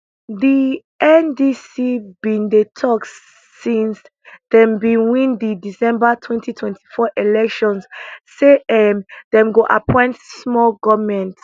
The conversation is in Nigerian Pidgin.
di ndc bin dey tok since dem win di december twenty twenty four elections say um dem go appoint small goment